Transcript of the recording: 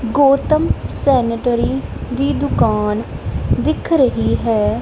Gautam sanitary ਦੀ ਦੁਕਾਨ ਦਿਖ ਰਹੀ ਹੈ।